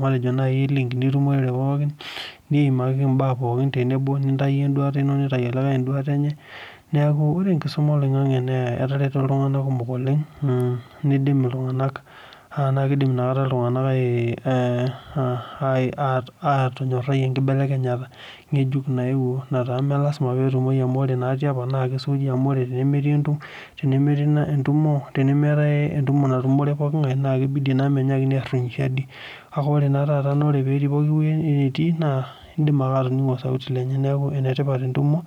matejo link nabo tenebo niimakiki nai entoki nabo nitau obo enduata enye nitau likae emenye neaku oe enkisuma oloingangi netarwto ltunganak kumok oleng nidim ltunganak ataa kidim ltunganak atongorai enkibelekenyata amu ore tiopa na kesuuji amu tenemetae entumo natumore pooki ngae na kibidi minyaki ashuku siadi indim ake atoningo osauti lenye neaku enetipat entumo